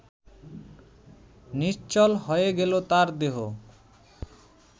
নিশ্চল হয়ে গেল তার দেহ